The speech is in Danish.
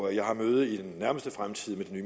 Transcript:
jeg har møde i den nærmeste fremtid med den